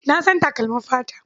Na san takalmin fata.